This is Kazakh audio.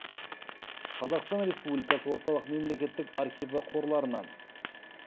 қазақстан республикасы орталық мемлекеттік архиві қорларынан